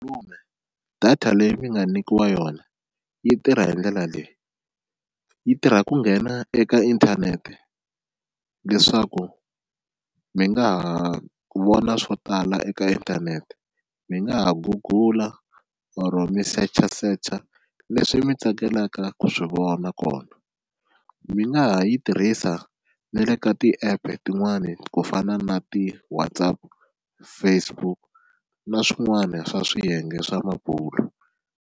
data leyi mi nga nyikiwa yona yi tirha hi ndlela leyi yi tirha ku nghena eka inthanete leswaku mi nga ha vona swo tala eka inthanete mi nga ha gugula or mi search searcher leswi mi tsakelaka ku swi vona kona, mi nga ha yi tirhisa ni le ka ti-app tin'wani ku fana na ti-WhatsApp, Facebook na swin'wana swa swiyenge swa mabulo.